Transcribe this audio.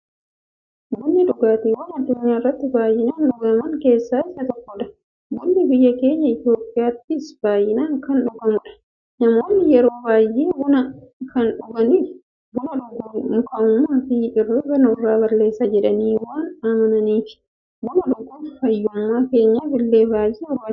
Bunni dhugaatiiwwan addunyaarratti baay'inaan dhugaman keessaa isa tokkodha. Bunni biyya keenya Itiyoophiyaattis baay'inaan kan dhugamuudha. Namoonni yeroo baay'ee buna kan dhuganiif, buna dhuguun mukaa'ummaafi hirriiba namarraa balleessa jedhanii waan amananiifi. Buna dhuguun fayyummaa keenyaf illee baay'ee nu fayyada.